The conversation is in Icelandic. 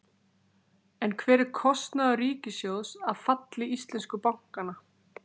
En hver er kostnaður ríkissjóðs af falli íslensku bankanna?